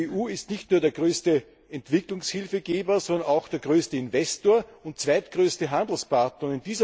Die EU ist nicht nur der größte Entwicklungshilfegeber, sondern auch der größte Investor und zweitgrößte Handelspartner.